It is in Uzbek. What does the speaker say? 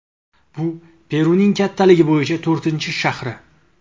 Bu Peruning kattaligi bo‘yicha to‘rtinchi shahri.